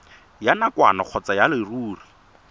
ya nakwana kgotsa ya leruri